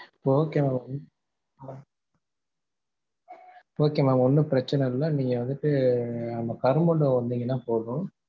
okay mam okay mam ஒன்னும் பிரச்சனை இல்ல நீங்க வந்துட்டு அந்த கருமண்டபம் வந்திங்கனா போதும்.